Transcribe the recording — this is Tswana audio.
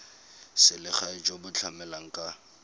selegae jo bo tlamelang ka